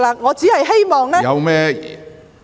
我只是希望......